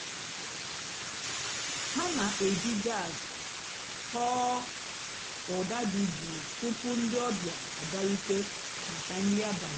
há nà-èjí jàzz tọ́ọ́ ụ́dà dị́ jụ́ụ́ túpú ndị́ ọ̀bị́á àbịárùté màkà nrí àbàlí.